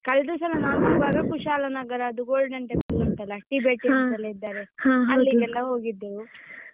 ಕಳ್ದ ಸಲ ನಾವ್ ಕುಶಾಲನಗರ ಅದು golden temple ಉಂಟಲ್ಲ tibeteans ಎಲ್ಲ ಇದ್ದಾರೆ ಅಲ್ಲಿಗೆಲ್ಲ ಹೋಗಿದ್ದೆವು.